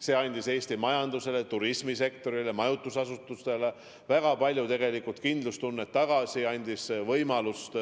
See andis Eesti majandusele, turismisektorile, majutusasutustele väga palju kindlustunnet tagasi, andis võimalust